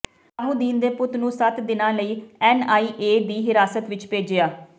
ਸਲਾਹੂਦੀਨ ਦੇ ਪੁੱਤ ਨੂੰ ਸੱਤ ਦਿਨਾਂ ਲਈ ਐਨਆਈਏ ਦੀ ਹਿਰਾਸਤ ਵਿੱਚ ਭੇਜਿਆ